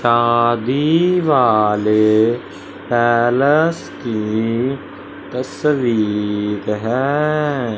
शादी वाले पैलेस की तस्वीर हैं।